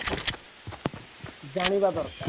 ଜାଣିବା ଦରକାର